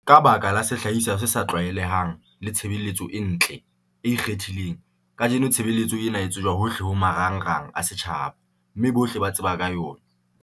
Ka baka la sehlahiswa se sa tlwaelehang le tshebeletso e ntle, e ikgethileng, kajeno tshebeletso ena e tsejwa hohle ho marangrang a setjhaba, mme bohle ba tseba ka yona.